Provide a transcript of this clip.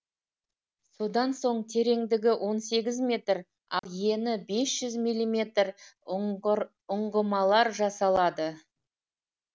содан соң тереңдігі он сегіз метр ал ені бес жүз мм ұңғымалар жасалады